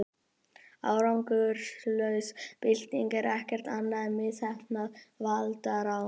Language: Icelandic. árangurslaus bylting er ekkert annað en misheppnað valdarán